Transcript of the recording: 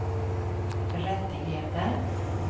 rättigheter